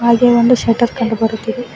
ಹಾಗೆ ಒಂದು ಶಟರ್ ಕಂಡು ಬರುತ್ತಿದೆ.